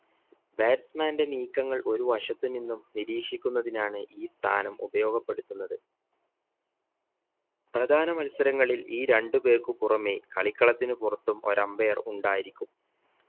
batsman ന്റെ നീക്കങ്ങൾ ഒരു വശത്തു നിന്നും നിരീക്ഷിക്കുന്നതിനാണ് ഈ സ്ഥാനം ഉപയോഗപ്പെടുത്തുന്നത് പ്രധാന മത്സരങ്ങളിൽ ഈ രണ്ട് പേർക്കും പുറമെ കളിക്കളത്തിന് പുറത്തും ഒര umpire ഉണ്ടായിരിക്കും